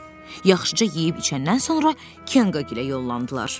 Yaxşıca yeyib içəndən sonra Kenqagilə yollandılar.